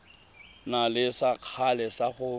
na le sekgala sa go